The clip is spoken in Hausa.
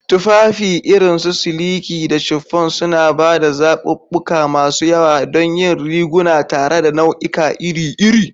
Tufafi irin su siliki da chiffon suna ba da zaɓuɓɓuka masu yawa don yin riguna tare da nau'ika iri iri.